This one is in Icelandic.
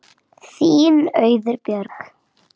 Þín Auður Björg.